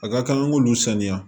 A ka kan an k'olu saniya